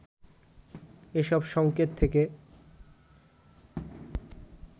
এসব সংকেত থেকে